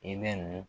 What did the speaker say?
I bɛ nin